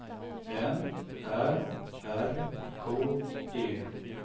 N Ä R K E